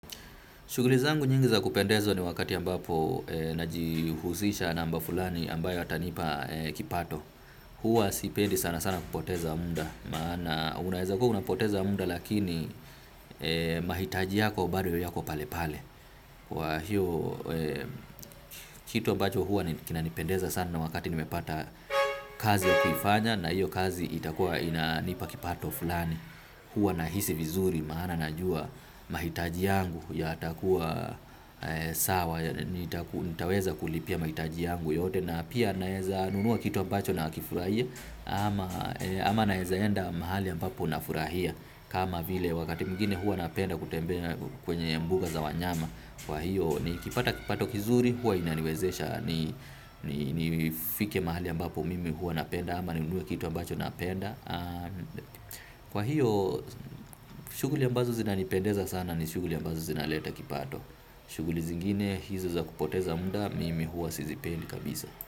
Shughuli zangu nyingi za kupendeza ni wakati ambapo najihusisha na mambo fulani ambayo yatanipa kipato. Huwa sipendi sana sana kupoteza muda. Maana unaweza kua unapoteza muda lakini mahitaji yako bado yako pale pale. Kwa hiyo kitu ambacho huwa kinanipendeza sana na wakati nimepata kazi ya kuifanya na hiyo kazi itakuwa inanipa kipato fulani. Huwa nahisi vizuri maana najua mahitaji yangu yatakuwa sawa. Nitaweza kulipia mahitaji yangu yote na pia naweza nunua kitu ambacho na kifurahia. Ama naeza enda mahali ambapo nafurahia. Kama vile wakati mwingine huwa napenda kutembea kwenye mbuga za wanyama. Kwa hiyo nikipata kipato kizuri huwa inaniwezesha nifike mahali ambapo mimi huwa napenda. Ama ninunue kitu ambacho napenda. Kwa hiyo shughuli ambazo zina nipendeza sana ni shughuli ambazo zina leta kipato. Shughuli zingine hizo za kupoteza muda mimi huwa sizipendi kabisa.